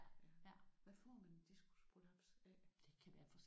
Hvad får man en diskusprolaps af?